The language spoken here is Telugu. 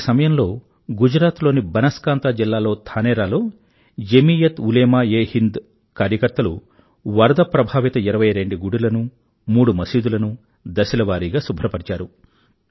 ఇలాంటి సమయంలో గుజరాత్ లోని బనాస్కాంతా జిల్లా లో ధానేరా లో జమీయత్ ఉలేమాఎహింద్ కార్యకర్తలు వరద ప్రభావిత ఇరవై రెండు గుడులను మూడు మసీదులను దశలవారీగా శుభ్రపరిచారు